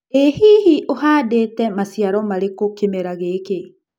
Ĩ hihi ũhandĩtĩ maciaro marĩkũ kĩmera gĩkĩ?